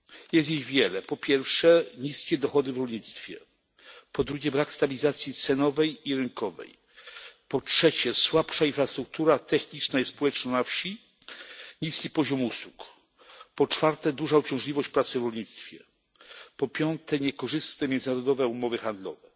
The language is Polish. Jest ich wiele po pierwsze niskie dochody w rolnictwie, po drugie brak stabilizacji cenowej i rynkowej, po trzecie słabsza infrastruktura techniczna i społeczna na wsi oraz niski poziom usług, po czwarte duża uciążliwość pracy w rolnictwie, po piąte niekorzystne międzynarodowe umowy handlowe.